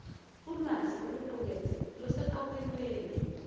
ulwazi oluqukethwe luseqophelweni